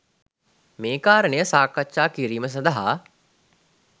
මේ කාරණය සාකච්ඡා කිරීම සඳහා